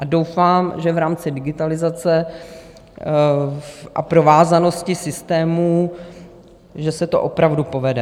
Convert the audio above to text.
A doufám, že v rámci digitalizace a provázanosti systémů, že se to opravdu povede.